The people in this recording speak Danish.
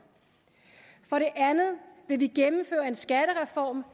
for det andet vil vi gennemføre en skattereform